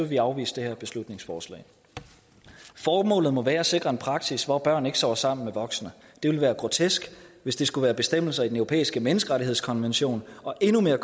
vi afvise det her beslutningsforslag formålet må være at sikre en praksis hvor børn ikke sover sammen med voksne det ville være grotesk hvis det skulle være bestemmelser i den europæiske menneskerettighedskonvention og endnu mere